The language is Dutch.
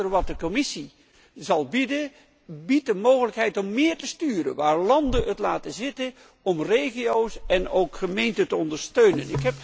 Het kader dat de Commissie zal bieden, biedt de mogelijkheid om meer te sturen wanneer landen nalaten om regio's en gemeenten te ondersteunen.